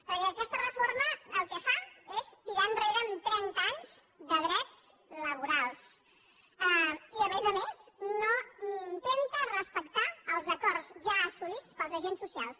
perquè aquesta reforma el que fa és tirar enrere trenta anys de drets laborals i a més a més ni intenta respectar els acords ja assolits pels agents socials